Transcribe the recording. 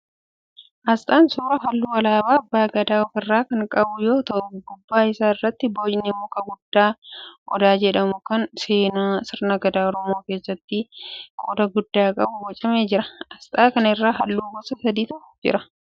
Asxaan suuraa halluu alaabaa abbaa Gadaa ofirraa kan qabu yoo ta'u gubbaa isaa irratti boocni muka guddaa Odaa jedhamu kan seenaa sirna gadaa Oromoo keessatti qooda guddaa qabu bocamee jira. Asxaa kana irra halluu gosa sadiitu jira.